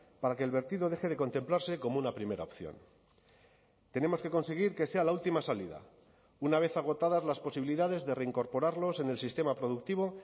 para que el vertido deje de contemplarse como una primera opción tenemos que conseguir que sea la última salida una vez agotadas las posibilidades de reincorporarlos en el sistema productivo